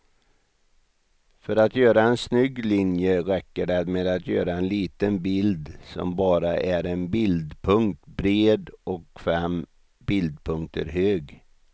För att göra en snygg linje räcker det med att göra en liten bild som bara är en bildpunkt bred och fem bildpunkter hög.